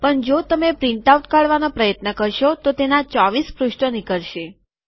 પણ જો તમે પ્રિન્ટઆઉટ કાઢવાનો પ્રયત્ન કરશો તો તેના ૨૪ પુષ્ઠો નીકળશે